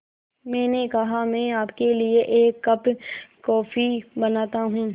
मैंने कहा मैं आपके लिए एक कप कॉफ़ी बनाता हूँ